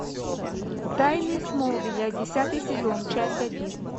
тайны смолвиля десятый сезон часть один